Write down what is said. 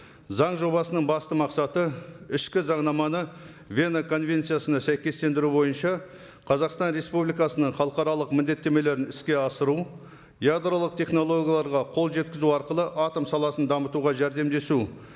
заң жобасының басты мақсаты ішкі заңнаманы вена конвенциясына сәйкестендіру бойынша қазақстан республикасының халықаралық міндеттемелерін іске асыру ядролық технологияларға қол жеткізу арқылы атом саласын дамытуға жәрдемдесу